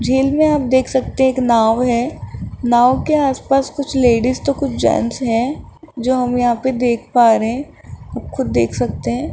झील में आप देख सकते हैं एक नाव हैं नाव के आसपास कुछ लेडीज तो कुछ जेंट्स हैं जो हम यहां पे देख पा रहे हैं आप खुद देख सकते हैं।